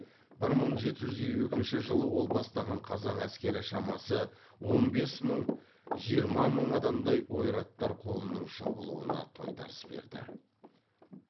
бір мың жеті жүз елу екінші жылы ол бастаған қазақ әскері шамасы он бес мың жиырма мың адамдай ойраттар қолының шабылуына тойтарыс берді